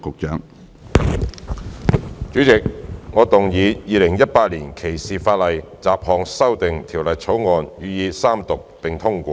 主席，我動議《2018年歧視法例條例草案》予以三讀並通過。